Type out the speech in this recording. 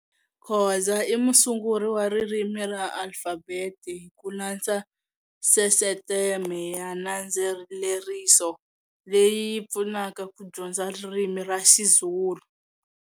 Khoza i musunguri wa ririmi ra alfabete hi ku landza sisteme ya nandzeleriso leyi yi pfunaka ku dyondza ririmi ra XiZulu.